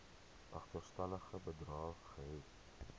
agterstallige bedrae gehef